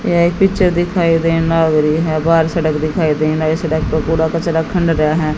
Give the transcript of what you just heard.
यह एक पिक्चर दिखाई देना लाग रि है बाहर सड़क दिखाई देना ये सड़क पे कूड़ा कचरा खन रेया है।